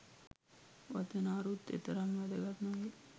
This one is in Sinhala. වචන අරුත් එතරම් වැදගත් නොවෙයි.